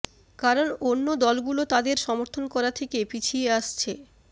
কারণ অন্য দলগুলো তাদের সমর্থন করা থেকে পিছিয়ে আসছে